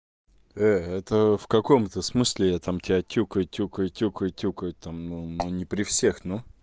это в каком это смысле я там тебя тюкаю тюкаю тюкаю тюкаю там ну ну не при всех ну